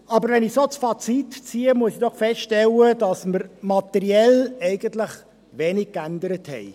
Aber wenn ich das Fazit ziehe, muss ich feststellen, dass wir materiell eigentlich wenig geändert haben.